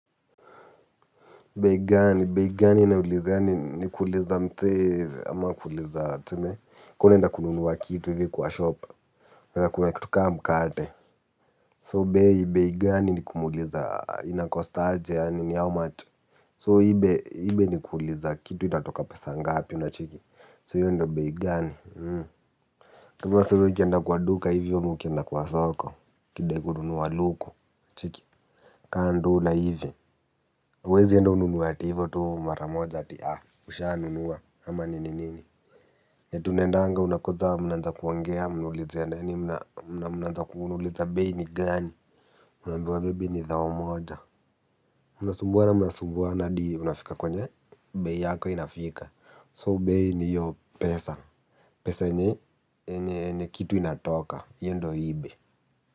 Bei gani bei gani inauliza ni kuuliza msee ama kuuliza tuseme kama unaenda kununua kitu hivi kwa shop. Na kuna kitu kama mkate. So bei bei gani ni kumuuliza inacost aje yaani ni how much. So hii bei ni kuuliza kitu inatoka pesa ngapi unacheki so hiyo ndio bei gani. Kama tuseme ukienda kwa duka hivi ama ukienda kwa soko ukidai kununua luku cheki. Kaa ndula hivi. Huwezienda ununue ati hivyo tu maramoja ati haa ushanunua ama nini nini eti unaendanga unakuja mnaanza kuongea mnauliza ya nani mnaanza kuuliza bei ni gani. Unaambiwa bebi ni thao moja. Mnasumbuana mnasumbuana hadi mnafika kwenye bei yako inafika so bei ni hiyo pesa. Pesa yenye kitu inatoka hiyi ndio hii bei.